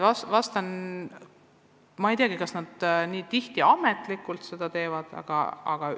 Ma ei teagi, kas väga tihti ametlikult teisest koolist abi küsitakse.